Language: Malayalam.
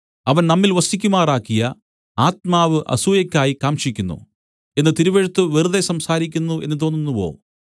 അവൻ നമ്മിൽ വസിക്കുമാറാക്കിയ ആത്മാവ് അസൂയയ്ക്കായി കാംക്ഷിക്കുന്നു എന്ന് തിരുവെഴുത്ത് വെറുതെ സംസാരിക്കുന്നു എന്ന് തോന്നുന്നുവോ